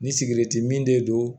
Ni sigɛriti min de don